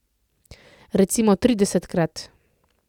Recimo tridesetkrat?